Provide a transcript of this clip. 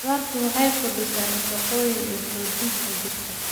Khudradda waxay kordhisaa nafaqooyinka iyo xoogga jirka.